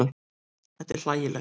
Þetta er hlægilegt.